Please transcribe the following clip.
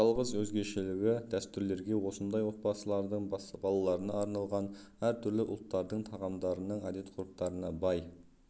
жалғыз өзгешелігі - дәстүрлерге осындай отбасылардың балаларына арналған әр түрлі ұлттардың тағамдарының әдет-ғұрыптарына бай